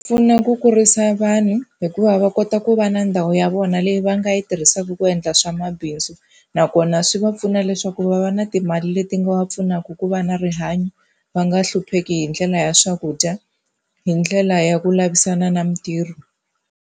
Pfuna ku kurisa vanhu hikuva va kota ku va na ndhawu ya vona leyi va nga yi tirhisaka ku endla swa mabindzu. Nakona swi va pfuna leswaku va va na timali leti nga va pfunaka ku va na rihanyo va nga hlupheki hi ndlela ya swakudya, hi ndlela ya ku lavisana na mitirho.